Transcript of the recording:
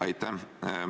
Aitäh!